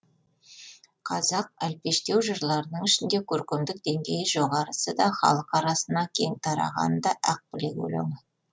қазақ әлпештеу жырларының ішінде көркемдік деңгейі жоғарысы да халық арасына кең тарағаны да ақ білек өлеңі